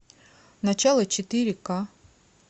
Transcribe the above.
начало четыре ка